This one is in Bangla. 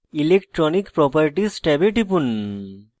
electronic properties ট্যাবে টিপুন